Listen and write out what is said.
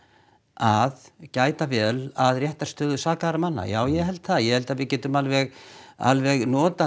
að gæta vel að réttarstöðu sakaðra manna já ég held það ég held við getum alveg alveg notað